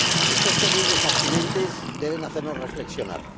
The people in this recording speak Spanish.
Estos terribles accidentes deben hacernos reflexionar.